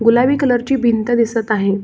गूलाबी colour ची भिंत दिसत आहे.